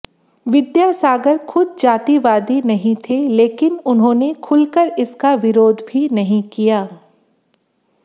विद्यासागर खुद जातिवादी नहीं थे लेकिन उन्होंने खुलकर उसका विरोध भी नहीं किया